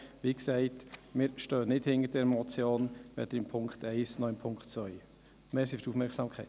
Wie gesagt, wir stehen nicht hinter dieser Motion, weder beim Punkt 1 noch beim Punkt 2. Danke für die Aufmerksamkeit.